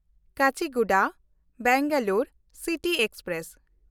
Kacheguda Bengaluru city express